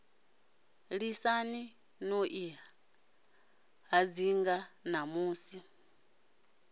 lisani no i hadzinga ṋamusi